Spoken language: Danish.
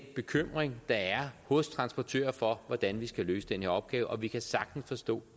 bekymring der er hos transportører for hvordan de skal løse den her opgave vi kan sagtens forstå